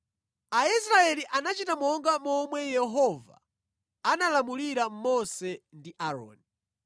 Aisraeli anachita monga momwe Yehova analamulira Mose ndi Aaroni.